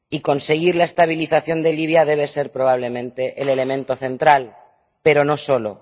Conseguir la estabilización de Libia debe ser probablemente el elemento central, pero no solo.